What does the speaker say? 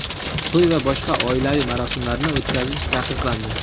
To‘y va boshqa oilaviy marosimlarni o‘tkazish taqiqlandi.